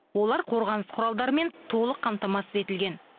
олар қорғаныс құралдарымен толық қамтамасыз етілген